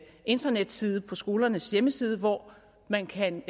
internetside på skolernes hjemmeside hvor man kan